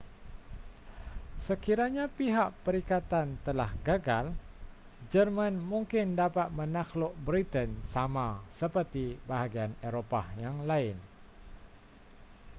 sekiranya pihak perikatan telah gagal jerman mungkin dapat menakluk britain sama seperti bahagian eropah yang lain